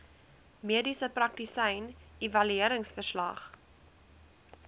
mediese praktisyn evalueringsverslag